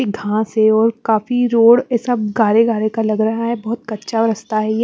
ये घास है और काफी रोड ये सब गारे गारे का लग रहा है बहुत कच्चा रास्ता है ये।